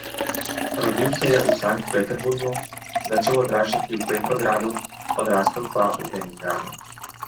Rodil se je v Sankt Peterburgu, začel odraščati v Petrogradu, odrastel pa v Leningradu.